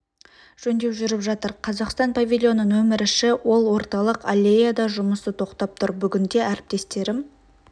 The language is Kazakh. жөндеу жүріп жатыр қазақстан павильоны нөмірі ші ол орталық аллеяда жұмысы тоқтап тұр бүгінде әріптестерім